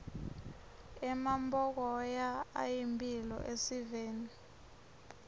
emampokoya ayimphilo esiveni